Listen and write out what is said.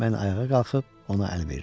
Mən ayağa qalxıb ona əl verdim.